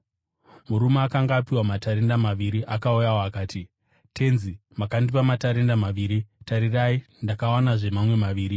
“Murume akanga apiwa matarenda maviri akauyawo. Akati, ‘Tenzi makandipa matarenda maviri, tarirai ndakawanazve mamwe maviri.’